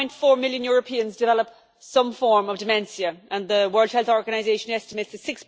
1.4 million Europeans develop some form of dementia, and the World Health Organisation estimates that